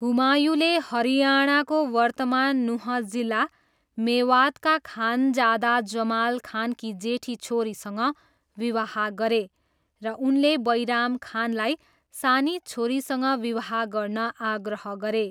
हुमायूँले हरियाणाको वर्तमान नुह जिल्ला मेवातका खानजादा जमाल खानकी जेठी छोरीसँग विवाह गरे र उनले बैराम खानलाई सानी छोरीसँग विवाह गर्न आग्रह गरे।